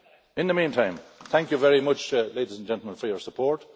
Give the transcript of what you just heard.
In the meantime, thank you very much, ladies and gentlemen, for your support.